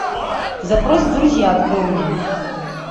запрос в друзья открой мне